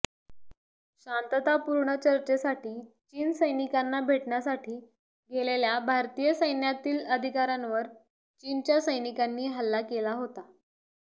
शांततापूर्ण चर्चेसाठी चीन सैनिकांना भेटण्यासाठी गेलेल्या भारतीय सैन्यातील अधिकाऱ्यांवर चीनच्या सैनिकांनी हल्ला केला होता